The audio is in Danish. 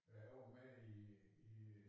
Ja jeg var med i i